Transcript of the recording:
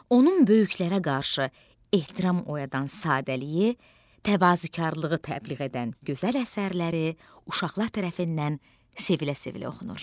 Onun böyüklərə qarşı ehtiram oyadan sadəliyi, təvazökarlığı təbliğ edən gözəl əsərləri uşaqlar tərəfindən sevilə-sevilə oxunur.